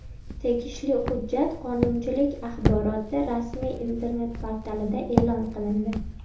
Tegishli hujjat qonunchilik axboroti rasmiy internet-portalida e’lon qilindi .